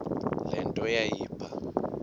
le nto yayipha